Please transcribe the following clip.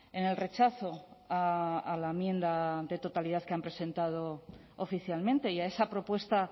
en el rechazo a la enmienda de totalidad que han presentado oficialmente y a esa propuesta